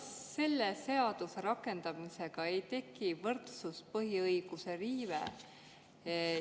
Kas selle seaduse rakendamisega ei teki võrdsuse põhiõiguse riive?